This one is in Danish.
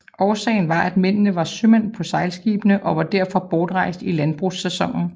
Årsagen var at mændene var sømænd på sejlskibene og var derfor bortrejst i landbrugssæsonen